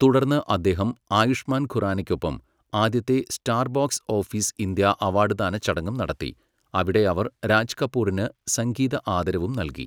തുടർന്ന് അദ്ദേഹം ആയുഷ്മാൻ ഖുറാനയ്ക്കൊപ്പം ആദ്യത്തെ star box office India award ദാന ചടങ്ങും നടത്തി, അവിടെ അവർ രാജ് കപൂറിന് സംഗീത ആദരവും നൽകി.